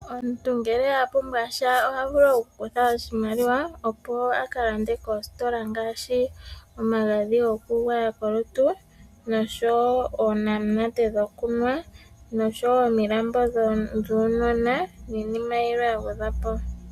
Omuntu ngele a pumbwa sha oha vulu okukutha oshimaliwa opo a kalande kositola ngaashi omagadhi gokugwaya kolutu, noshowo oonamunate dhokunwa, noshowo ominambo dhuunona niinima yilwe ya gwedhwa po.